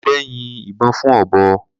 Ọdẹ́ yin ìbọn fún ọ̀bọ.